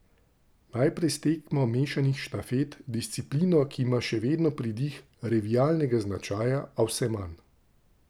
Najprej s tekmo mešanih štafet, disciplino, ki ima še vedno pridih revijalnega značaja, a vse manj.